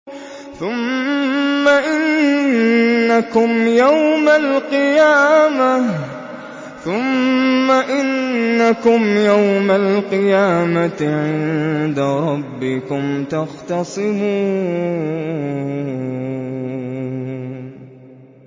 ثُمَّ إِنَّكُمْ يَوْمَ الْقِيَامَةِ عِندَ رَبِّكُمْ تَخْتَصِمُونَ